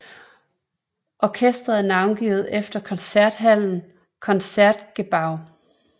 Orkestret er navngivet efter koncerthallen Concertgebouw